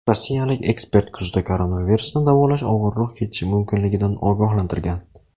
Rossiyalik ekspert kuzda koronavirusni davolash og‘irroq kechishi mumkinligidan ogohlantirgan .